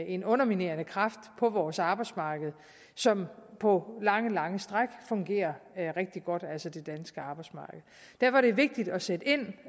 en underminerende kraft på vores arbejdsmarked som på lange lange stræk fungerer rigtig godt altså det danske arbejdsmarked derfor er det vigtigt at sætte ind